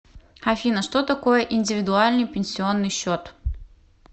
афина что такое индивидуальный пенсионный счет